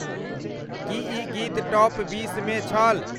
की ई गीत टॉप बीसमे छल।